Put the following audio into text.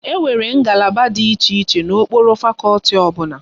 Enwere ngalaba dị iche iche n'okpuru fakọlti ọbụla